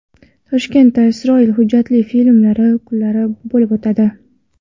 Toshkentda Isroil hujjatli filmlari kunlari bo‘lib o‘tadi.